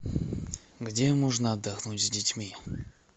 где можно отдохнуть с детьми